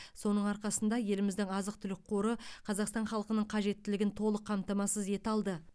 соның арқасында еліміздің азық түлік қоры қазақстан халқының қажеттілігін толық қамтамасыз ете алды